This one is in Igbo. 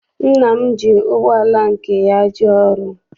Nna m ji ụgbọala nke ya jee ọrụ.